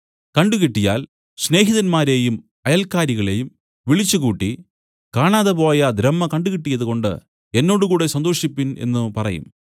കണ്ടുകിട്ടിയാൽ സ്നേഹിതമാരെയും അയൽക്കാരികളെയും വിളിച്ചുകൂട്ടി കാണാതെപോയ ദ്രഹ്മ കണ്ട് കിട്ടിയതുകൊണ്ട് എന്നോടുകൂടെ സന്തോഷിപ്പിൻ എന്നു പറയും